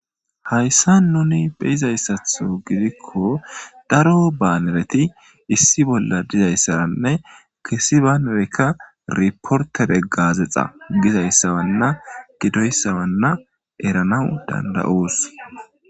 Hayssan nuuni be7izayssaththo gidikko daro banereti issi bolla dizayssaranne issi baanereka eriporttere gaazeexxa gizayssabana gidoyssabana eranaw danda7oos.